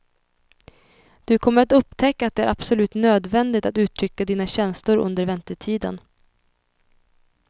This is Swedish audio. Du kommer att upptäcka att det är absolut nödvändigt att uttrycka dina känslor under väntetiden.